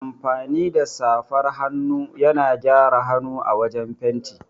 Amfani da safar hannu yana gyara hanu a wajan fenti.